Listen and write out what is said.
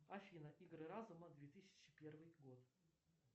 афина игры разума две тысячи первый год